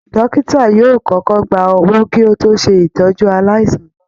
Dọ́kítà yóò kọ́kọ́ gba owó kí ó tó ṣètọ́jú aláìsàn náà